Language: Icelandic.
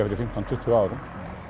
fyrir fimmtán til tuttugu árum